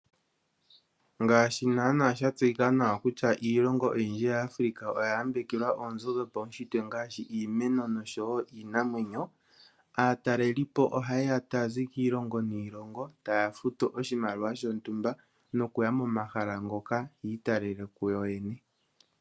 Ngaashi naana sha tseyika nawa kutya iilongo oyindji ya Africa oya yambekelwa oonzo dhopaunshitwe ngaashi iimeno nosho wo iinamwenyo, aatalelipo ohayeya tayazi kilongo niilongo, taya futu oshimaliwa shontumba, nokuya momahala ngoka yi italele kuyo yene.